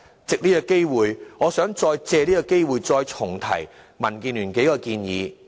藉此機會，我想重提民建聯的數項建議。